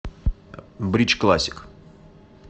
бридж классик